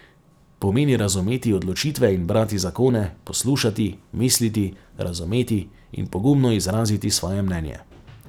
Pomeni razumeti odločitve in brati zakone, poslušati, misliti, razumeti in pogumno izraziti svoje mnenje.